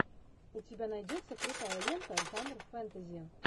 у тебя найдется крутая лента жанра фэнтези